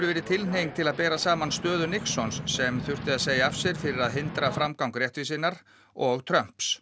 verið tilhneiging til að bera saman stöðu Nixons sem þurfti að segja af sér fyrir að hindra framgang réttvísinnar og Trumps